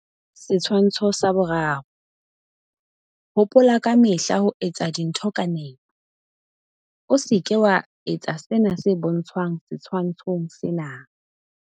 Setshwantsho 3. Hopola ka mehla ho etsa dintho ka nepo. O se ke wa etsa sena se bontshwang setshwantshong sena.